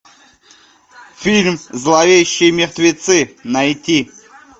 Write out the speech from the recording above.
фильм зловещие мертвецы найти